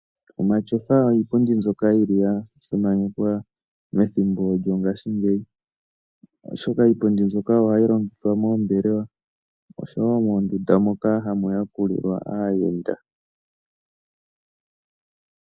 Omatyofa oyo iipundi mbyoka yili ya simanekwa methimbo lyongaashingeyi oshoka iipundi mbyoka ohayi longithwa moombelewa oshowo moondunda moka hamu yakulilwa aayenda.